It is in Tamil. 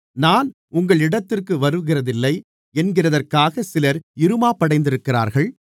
நான் உங்களிடத்திற்கு வருகிறதில்லை என்கிறதற்காகச் சிலர் இறுமாப்படைந்திருக்கிறார்கள்